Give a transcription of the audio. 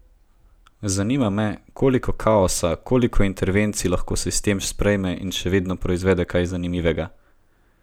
Zanima me, koliko kaosa, koliko intervencij lahko sistem sprejme in še vedno proizvede kaj zanimivega?